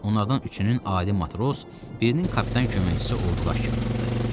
Onlardan üçünün adi matros, birinin kapitan köməkçisi olduğu aşkarlandı.